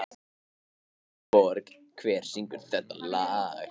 Aðalborg, hver syngur þetta lag?